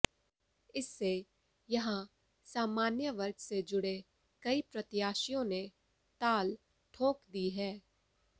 इससे यहां सामान्य वर्ग से जुड़े कई प्रत्याशियों ने ताल ठोंक दी है